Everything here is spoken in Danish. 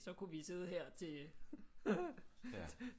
Så kunne vi sidde her til